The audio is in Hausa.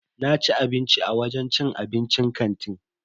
Naci abinci a wajen cin abincin kantin.